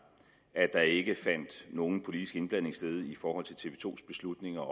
at der ikke fandt nogen politisk indblanding sted i forhold til tv to beslutninger